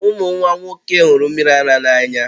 Ụmụ nwa nwoke hụrụ mmiri ara n'anya